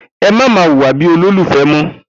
Emá ma wùwà bi olólùfe mọ